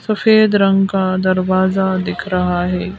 सफेद रंग का दरवाजा दिख रहा है।